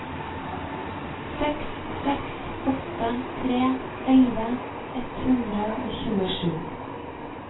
seks seks åtte tre elleve ett hundre og tjuesju